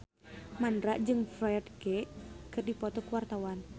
Mandra jeung Ferdge keur dipoto ku wartawan